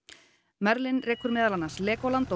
merlin rekur meðal annars Legoland og